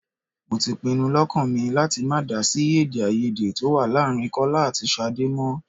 Mo ti pinu lọ́kàn mi láti má dá sí èdè-áiyedé tó wà láàárín Kọ́lá àti Ṣadé mọ́.